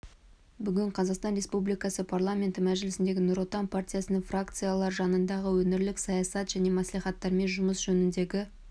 бүгін қазақстан республикасы парламенті мәжілісіндегі нұр отан партиясының фракциялар жанындағы өңірлік саясат және мәслихаттармен жұмыс жөніндегі